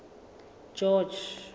george